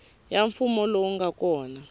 ya mfumo lowu nga kona